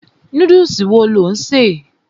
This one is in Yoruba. Núdùsì wo lò ń ṣè?